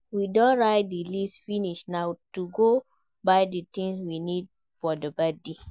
We don write the list finish na to go buy the things we need for the birthday